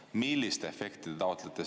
Millist efekti te taotlete?